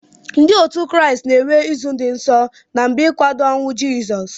Ndi otu kraist na enwe izu di nsọ na mgbe nkwado onwụ jisọs